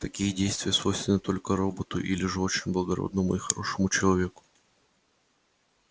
такие действия свойственны только роботу или же очень благородному и хорошему человеку